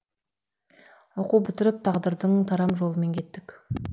оқу бітіріп тағдырдың тарам жолымен кеттік